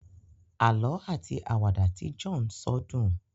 àlọ ati Àwàdà Tí John so dùn